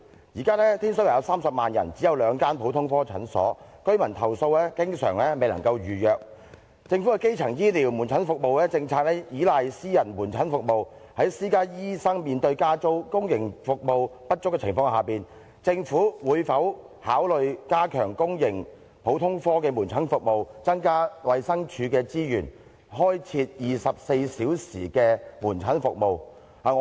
現時天水圍有30萬人，但只有兩間普通科診所，居民投訴經常未能夠預約，政府的基層醫療門診服務政策倚賴私家門診服務，在私家醫生面對加租及公營服務不足的情況下，政府會否考慮加強公營普通科的門診服務，增加衞生署的資源，開設24小時門診服務？